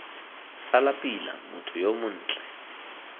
sala pila motho yo montle